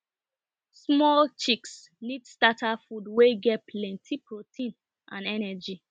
small chicks need starter food wey get plenty protein and energy